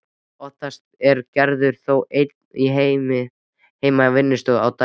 Oftast er Gerður þó ein heima í vinnustofunni á daginn.